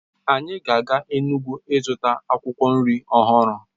Anyị ga-aga Enugwu zụta akwụkwọ nri ọhụrụ